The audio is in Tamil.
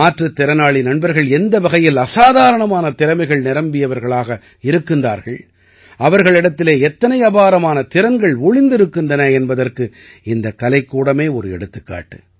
மாற்றுத் திறனாளி நண்பர்கள் எந்த வகையில் அசாதாரணமான திறமைகள் நிரம்பியவர்களாக இருக்கின்றார்கள் அவர்களிடத்திலே எத்தனை அபாரமான திறன்கள் ஒளிந்திருக்கின்றன என்பதற்கு இந்தக் கலைக்கூடமே ஒரு எடுத்துக்காட்டு